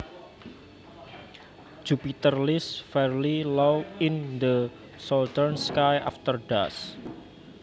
Jupiter lies fairly low in the southern sky after dusk